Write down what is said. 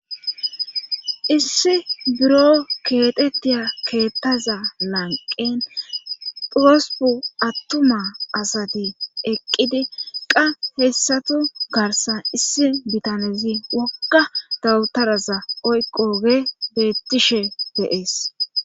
issi buro keetettiya keettaza lanqen durosupu attuma asati eqqidi qa hessatu garsan issi bitanezi wokka dawutaraza oyqoge bettishe beees